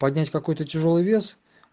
поднять какой-то тяжёлый вес